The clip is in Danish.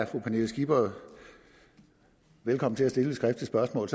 pernille skipper er velkommen til at stille et skriftligt spørgsmål